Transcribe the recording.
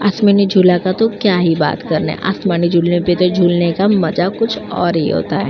आसमानी झूला का तो क्या ही बात करना। आसमानी झूले में तो झूलने का मजा कुछ और ही होता है।